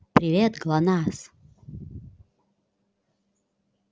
привет глонассс